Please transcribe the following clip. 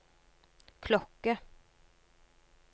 klokke